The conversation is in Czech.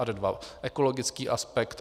Ad 2 ekologický aspekt.